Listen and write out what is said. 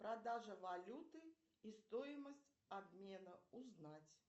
продажа валюты и стоимость обмена узнать